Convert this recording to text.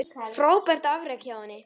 Frábært afrek hjá henni.